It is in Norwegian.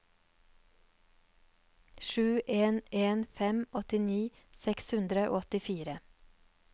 sju en en fem åttini seks hundre og åttifire